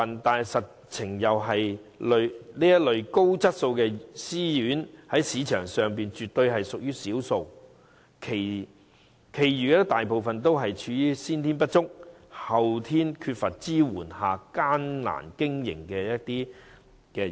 不過，實情是這類高質素的私營院舍在市場上絕對屬於少數，其餘大部分私營院舍均在先天不足、後天缺乏支援的情況下艱苦經營。